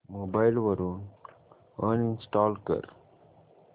mobile वरून uninstall कर